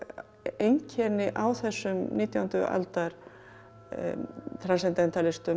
einkenni á þessum nítjándu aldar